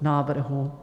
návrhu.